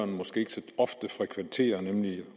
måske ikke så ofte frekventerer nemlig